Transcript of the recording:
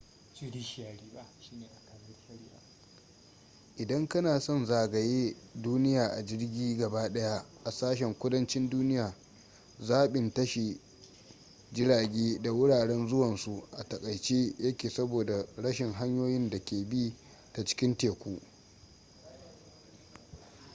idan kana son zagaye duniya a jirgi gaba daya a sashen kudancin duniya zaɓin tashi jirage da wuraren zuwansu a takaice yake saboda rashin hanyoyin da ke bi ta cikin teku